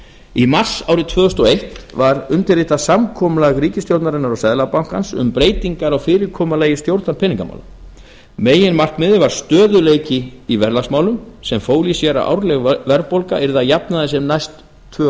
í mars árið tvö þúsund og eitt var undirritað samkomulag ríkisstjórnarinnar og seðlabankans um breytingar á fyrirkomulagi stjórnar peningamála meginmarkmiðið var stöðugleiki í verðlagsmálum sem fól í sér að árleg verðbólga yrði að jafnaði sem næst tvö og